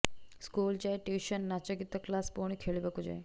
school ଯାଏ tuition ନାଚଗୀତ class ପୁଣି ଖେଳିବାକୁ ଯାଏ